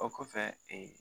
O kɔfɛ